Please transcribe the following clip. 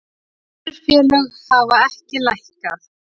Önnur félög hafa ekki lækkað